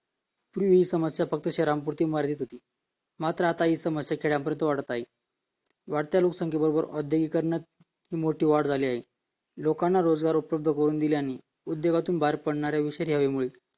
पूर्वी ही समस्या फक्त शहरांपुरती मर्यादित होती मात्र आता ही समस्या खेड्यांपर्यंत वाढत आहे वाढत्या लोकसंख्येबरोबर औद्योगिकरणातही खूप मोठ्या संख्येत वाढ झालेली आहे लोकांना रोजगार उपलब्ध करून दिल्याने उद्योगातून बाहेर पडणाऱ्या विषारी हवेमुळे